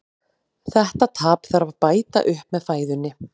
þetta tap þarf að bæta upp með fæðunni